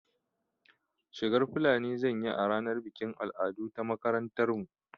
Shigar fulani zan yi a ranar bikin al'adu ta makarantar mu